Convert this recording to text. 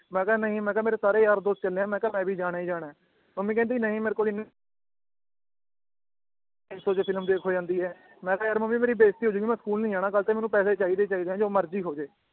ਮੈ ਕਾ ਨਈ ਮੈ ਕਾ ਮੇਰੇ ਸਾਰੇ ਯਾਰ ਦੋਸਤ ਕਹਿੰਦੇ ਏ ਮੈ ਕਾ ਮੈ ਵੀ ਜਾਣਾ ਈ ਜਾਣਾ ਏ ਮਮ੍ਮੀ ਕਹਿੰਦੀ ਨਈ ਮੇਰੇ ਕੋਲ ਇਨ ਤਿੰਨ ਸੌ ਚ ਫਿਲਮ ਦੇਖ ਹੋਜਾਂਦੀ ਏ ਮੈ ਕਾ ਮਮ੍ਮੀ ਮੇਰੀ ਬੇਜ਼ਤੀ ਹੋਜੂਗੀ ਮੈ ਸਕੂਲ ਨਈ ਜਾਣਾ ਕਲ ਤੇ ਮੈਨੂੰ ਪੈਸੇ ਚਾਹੀਦੇ ਈ ਚਾਹੀਦੇ ਏ ਜੋ ਮਰਜੀ ਹੋਜੇ